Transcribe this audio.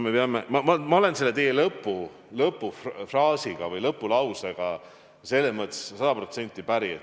Ma olen teie lõpufraasi või lõpulausega sada protsenti päri.